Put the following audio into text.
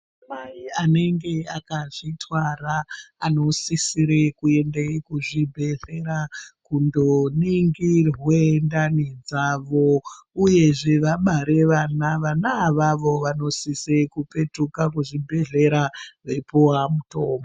Anamai anonga akazvitwara anosisire kuende kuzvibhehleya kundoningirwe ndani dzavo uyezve vabare vana ,vana avavo vanosise kupetuke kuzvibhehlera veipuwa mutombo.